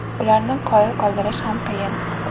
Ularni qoyil qoldirish ham qiyin.